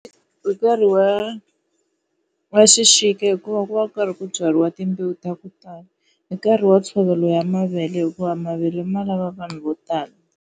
Hi nkarhi wa wa xixika hikuva ku va ku karhi ku byariwa timbewu ta ku tala. Hi nkarhi wa ntshovelo wa mavele hikuva mavele ma lava vanhu vo tala.